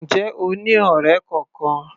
Ǹjẹ́ o ní ọ̀rẹ́ kọkan?